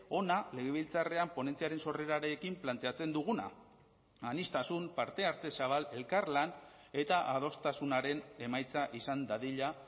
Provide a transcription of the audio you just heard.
hona legebiltzarrean ponentziaren sorrerarekin planteatzen duguna aniztasun parte hartze zabal elkarlan eta adostasunaren emaitza izan dadila